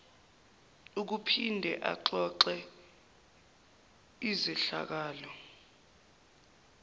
ukuphinde axoxe izehlakalo